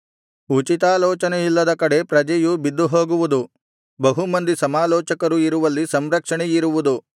ಉಚಿತಾಲೋಚನೆಯಿಲ್ಲದ ಕಡೆ ಪ್ರಜೆಯು ಬಿದ್ದು ಹೋಗುವುದು ಬಹು ಮಂದಿ ಸಮಾಲೋಚಕರು ಇರುವಲ್ಲಿ ಸಂರಕ್ಷಣೆ ಇರುವುದು